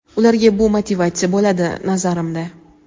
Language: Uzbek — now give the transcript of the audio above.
ularga bu motivatsiya bo‘ladi, nazarimda.